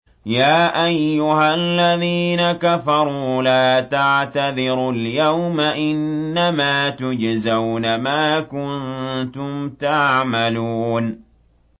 يَا أَيُّهَا الَّذِينَ كَفَرُوا لَا تَعْتَذِرُوا الْيَوْمَ ۖ إِنَّمَا تُجْزَوْنَ مَا كُنتُمْ تَعْمَلُونَ